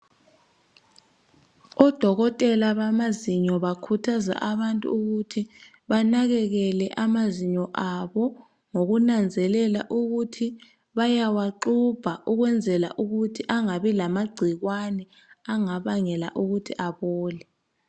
Odokotela bamazinyo bakhuthaza abantu ukuthi banakekele amazinyo abo ngokunanzelela ukuthi bayawaxubha ulwenzela ukuthi angabi lamagcikwane angabangela ukuthi abole.